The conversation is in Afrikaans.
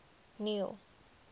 neil